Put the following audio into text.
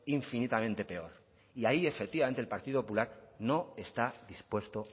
infinitamente peor y ahí efectivamente el partido popular no está dispuesto